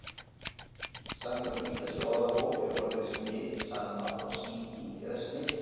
Samkvæmt íslenskri orðabók er orðið smit sama og sýking eða smitun.